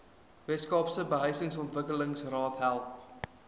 weskaapse behuisingsontwikkelingsraad help